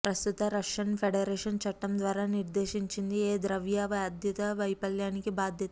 ప్రస్తుత Russian Federation చట్టం ద్వారా నిర్దేశించింది ఏ ద్రవ్య బాధ్యత వైఫల్యానికి బాధ్యత